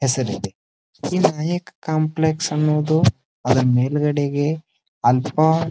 ಹೆಸರಿದೆ ಇಲ್ಲಿ ಅನೇಕ ಕಾಂಪ್ಲೆಕ್ಸ್ ಅನ್ನುವುದು ಅದ್ರ ಮೇಲುಅಡೆಗೆ ಆಲ್ಫಾ --